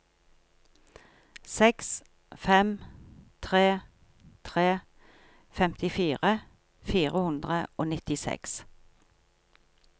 seks fem tre tre femtifire fire hundre og nittiseks